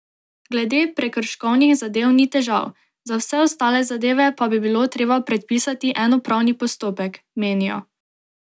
Glede prekrškovnih zadev ni težav, za vse ostale zadeve pa bi bilo treba predpisati en upravni postopek, menijo.